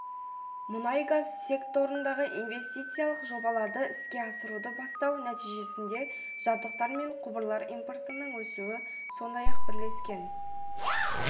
мұнай-газ секторындағы инвестициялық жобаларды іске асыруды бастау нәтижесінде жабдықтар мен құбырлар импортының өсуі сондай-ақ бірлескен